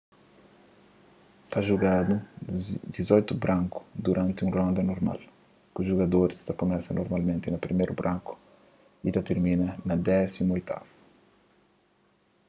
ta jugadu dizoitu braku duranti un ronda normal ku jugadoris ta kumesa normalmenti na priméru braku y ta tirmina na désimu oitavu